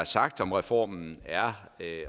sagt om reformen er